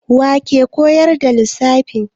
Wa ke koyar da ku lissafi?